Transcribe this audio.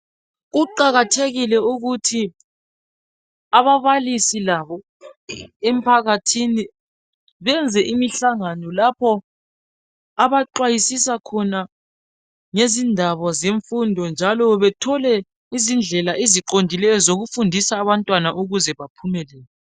Kuqakathekile ukuthi ababalisi labo emphakathini benze imihlangano lapho abaxwayisisa khona ngezindaba zemfundo njalo bethole izindlela eziqondileyo zokufundisa abantwana ukuze baphumelele